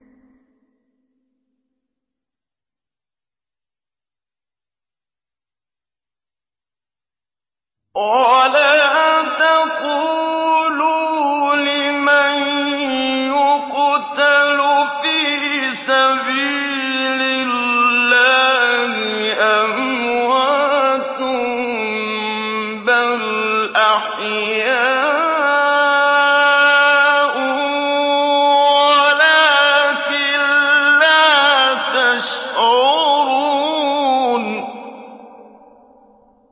وَلَا تَقُولُوا لِمَن يُقْتَلُ فِي سَبِيلِ اللَّهِ أَمْوَاتٌ ۚ بَلْ أَحْيَاءٌ وَلَٰكِن لَّا تَشْعُرُونَ